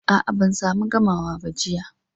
A, a, ban samu gamawa ba, jiya.